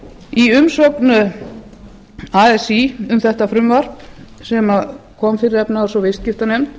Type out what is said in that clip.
í umsögn así um þetta frumvarp sem kom fyrir efnahags og viðskiptanefnd